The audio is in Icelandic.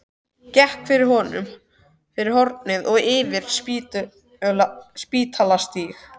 Gekk fyrir hornið og yfir Spítalastíg.